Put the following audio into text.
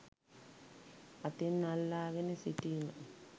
අතින් අල්ලාගෙන සිටීම